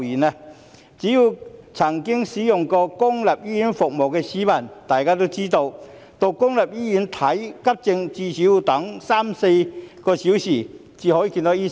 只要曾經使用過公立醫院服務的市民都知道，到公立醫院看急症，最少要等候三四小時，才可以見到醫生。